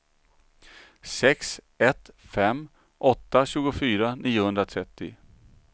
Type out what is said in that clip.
sex ett fem åtta tjugofyra niohundratrettio